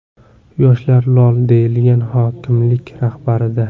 Yoshlar lol...”, deyilgan hokimlik xabarida.